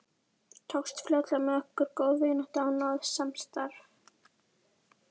Tókst fljótlega með okkur góð vinátta og náið samstarf.